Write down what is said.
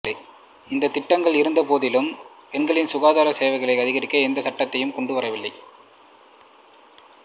இந்த திட்டங்கள் இருந்த போதினும் பெண்களின் சுகாதார சேவைகளை அதிகரிக்க எவ்வித சட்டத்தையும் கொண்டு வரவில்லை